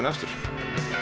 og eftir